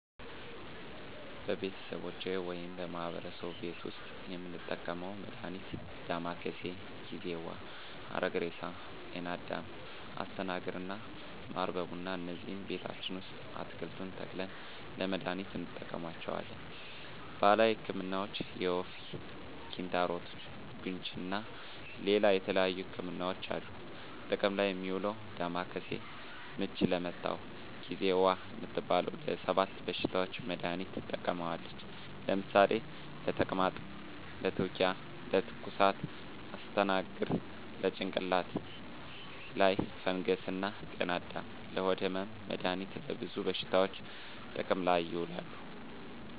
በቤተሰቦቼ ወይም በማህበረሰቡ ቤት ዉስጥ የምንጠቀመዉ መድሃኒት ዳማከሴ፣ ጊዜዋ፣ ሀረግሬሳ፣ ጤናአዳም፣ አስተናግር እና ማር በቡና እነዚህን ቤታችን ዉስጥ አትክልቱን ተክለን ለመድሃኒትነት እንጠቀማቸዋለን። ባህላዊ ህክምናዎች የወፍ፣ ኪንታሮት፣ ቡግንጂ እና ሌላ የተለያዩ ህክምናዎች አሉ። ጥቅም ላይ እሚዉለዉ ዳማከሴ፦ ምች ለመታዉ፣ ጊዜዋ እምትባለዋ ለ 7 በሽታዎች መድሃኒትነት ትጠቅማለች ለምሳሌ፦ ለተቅማጥ፣ ለትዉኪያ፣ ለትኩሳት... ፣ አስተናግር፦ ለጭንቅላት ላይ ፈንገስ እና ጤናአዳም፦ ለሆድ ህመም... መድሃኒቱ ለብዙ በሽታዎች ጥቅም ላይ ይዉላሉ።